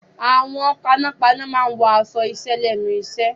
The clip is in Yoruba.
Àwọn panápaná máa wọ aṣọ iṣẹ́ lẹ́nu iṣẹ́.